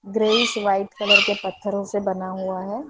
Greyish white colour के पत्थरों से बना हुआ है।